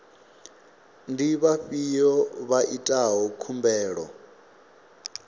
ndi vhafhiyo vha itaho khumbelo